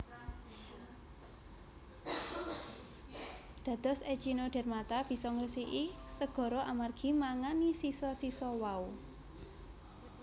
Dados Echinodermata bisa ngresiki segara amargi mangani sisa sisa wau